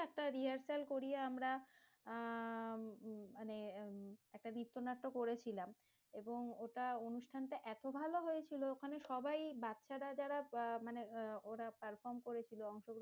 একটা rehearsal করিয়ে আমরা, আহ মানে একটা নৃত্যনাট্য করেছিলাম এবং ওটা অনুষ্ঠানটা এত ভালো হয়েছিল, ওখানে সবাই বাচ্ছারা যারা মানে ওরা perform করেছিল